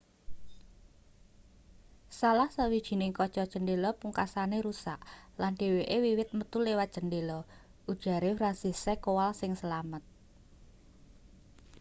salah sawijining kaca cendhela pungkasane rusak lan dheweke wiwit metu liwat cendhela ujare franciszek kowal sing slamet